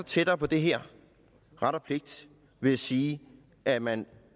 tættere på det her ret og pligt ved at sige at man